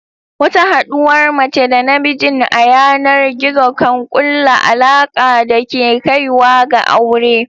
Wata haɗuwar mace da namijin a yanar gizo kan kulla alaka da ke kaiwa ga aure.